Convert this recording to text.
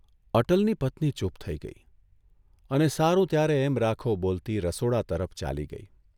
અટલની પત્ની ચૂપ થઇ ગઇ અને સારું ત્યારે એમ રાખો બોલતી રસોડા તરફ ચાલી ગઇ.